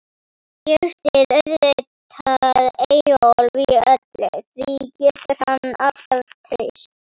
Ég styð auðvitað Eyjólf í öllu, því getur hann alltaf treyst.